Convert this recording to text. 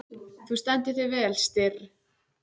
Þú stendur þig vel, Styrr!